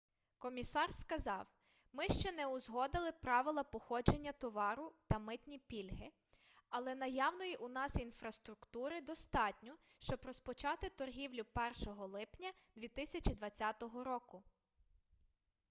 комісар сказав ми ще не узгодили правила походження товару та митні пільги але наявної у нас інфраструктури достатньо щоб розпочати торгівлю 1 липня 2020 року